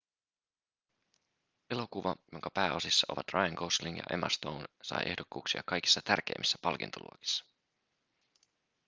elokuva jonka pääosissa ovat ryan gosling ja emma stone sai ehdokkuuksia kaikissa tärkeimmissä palkintoluokissa